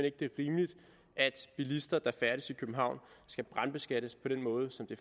ikke det er rimeligt at bilister der færdes i københavn skal brandbeskattes på den måde som det